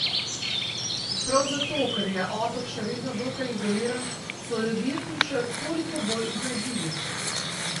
Prav zato, ker je otok še vedno dokaj izoliran, so ljudje tu še toliko bolj iznajdljivi.